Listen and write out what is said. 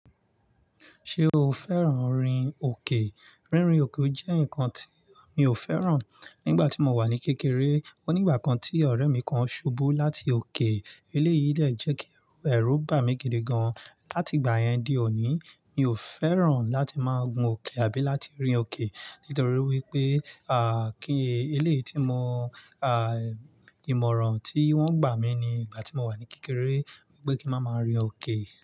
Ṣé o fẹ́ràn orin òkè? Rínrin òkè jẹ́ nǹkan tí mi ò fẹ́ràn. Nígbà tí mo wà ní kékeré, ó ní ìgbà kan tí ọ̀rẹ́ mi kan ṣubú láti òkè. Eléyìí de jẹ́ kí ẹ̀rù bà mí gidi gan. Láti ìgbà yẹn di òní, mi ò fẹ́ràn láti máa gun òkè àbí láti rìn òkè. Nítorí wípé, kí eléyìí tí mo, ìmọ̀ràn tí wọ́n gbà mi ní ìgbà tí mo wà ní kékeré pé kí n máa ma rìn òkè.